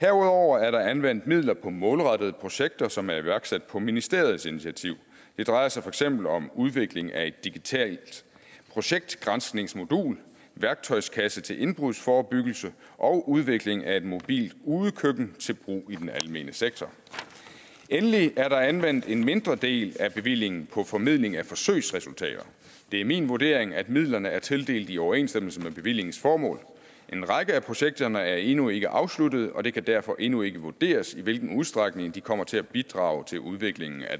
herudover er der anvendt midler på målrettede projekter som er iværksat på ministeriets initiativ det drejer sig for eksempel om udvikling af et digitalt projektgranskningsmodul værktøjskasse til indbrudsforebyggelse og udvikling af et mobilt udekøkken til brug i den almene sektor og endelig er der anvendt en mindre del af bevillingen på formidling af forsøgsresultater det er min vurdering at midlerne er tildelt i overensstemmelse med bevillingens formål en række af projekterne er endnu ikke afsluttet og det kan derfor endnu ikke vurderes i hvilken udstrækning de kommer til at bidrage til udviklingen af